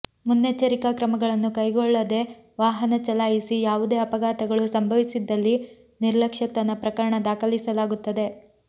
ಮುನ್ನೆಚ್ಚರಿಕಾ ಕ್ರಮಗಳನ್ನು ಕೈಗೊಳ್ಳದೆ ವಾಹನ ಚಲಾಯಿಸಿ ಯಾವುದೇ ಅಪಘಾತಗಳು ಸಂಭವಿಸಿದ್ದಲ್ಲಿ ನಿರ್ಲಕ್ಷ್ಯತನ ಪ್ರಕರಣ ದಾಖಲಿಸಲಾಗುತ್ತದೆ